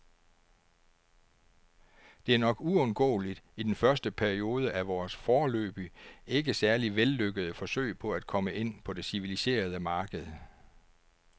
Det er nok uundgåeligt i den første periode af vores, foreløbig ikke særlig vellykkede, forsøg på at komme ind på det civiliserede marked.